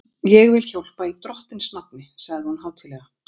Ég vil hjálpa í Drottins nafni sagði hún hátíðlega.